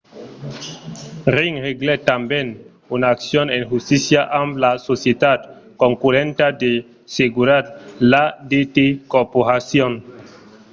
ring reglèt tanben una accion en justícia amb la societat concurrenta de seguretat l’adt corporation